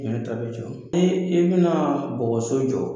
Hinɛ ta bɛ jɔ i bɛna bɔgɔso jɔ